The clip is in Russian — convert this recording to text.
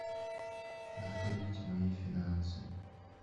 открыть мои финансы